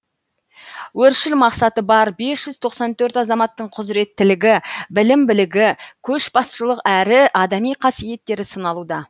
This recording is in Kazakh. өршіл мақсаты бар бес жүз тоқсан төрт азаматтың құзіреттілігі білім білігі көшбасшылық әрі адами қасиеттері сыналуда